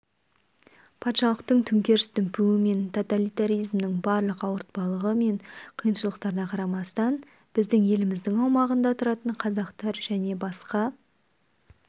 патшалықтың төңкеріс дүмпуі мен тоталитаризмнің барлық ауыртпалығы мен қиыншылықтарына қарамастан біздің еліміздің аумағында тұратын қазақтар және басқа